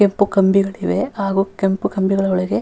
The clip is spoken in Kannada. ಕೆಂಪು ಕಂಬಿಗಳಿವೆ ಹಾಗು ಕೆಂಪು ಕಂಬಿಗಳ ಒಳಗೆ --